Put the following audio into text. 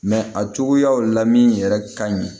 a cogoyaw la min yɛrɛ ka ɲi